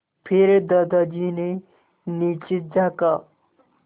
फिर दादाजी ने नीचे झाँका